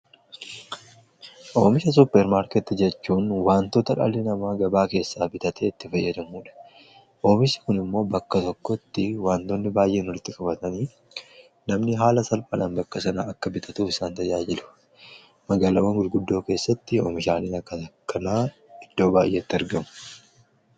Oomisha suppermaarkeetti jechuun wantoota dhaalli namaa gabaa keessaa bitatee itti fayyadamuudha. oomishni kun immoo bakka tokkotti wantoonni baay'een walitti qabatanii namni haala salphaan bakka sana akka bitatuuf isaan tajaajilu magaalawwan gurguddoo keessatti oomishanii akka takkan iddoo baay'eetti argamu,